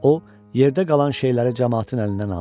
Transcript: O, yerdə qalan şeyləri camaatın əlindən aldı.